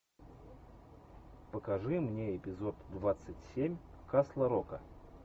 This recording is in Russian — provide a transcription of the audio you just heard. покажи мне эпизод двадцать семь касл рока